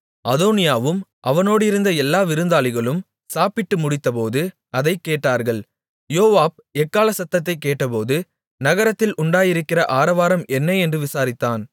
அதோனியாவும் அவனோடிருந்த எல்லா விருந்தாளிகளும் சாப்பிட்டு முடித்தபோது அதைக் கேட்டார்கள் யோவாப் எக்காள சத்தத்தைக் கேட்டபோது நகரத்தில் உண்டாயிருக்கிற ஆரவாரம் என்ன என்று விசாரித்தான்